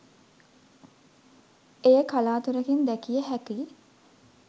එය කලාතුරකින් දැකිය හැකි